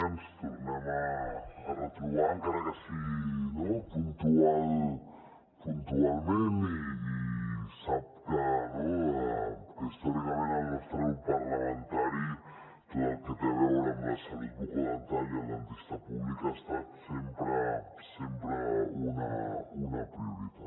ens tornem a retrobar encara que sigui puntualment i sap que històricament al nostre grup parlamentari tot el que té a veure amb la salut bucodental i el dentista públic ha estat sempre una prioritat